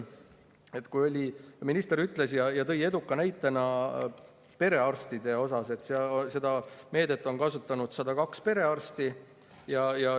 Minister tõi näitena perearstid, et seda meedet on kasutanud 102 perearsti.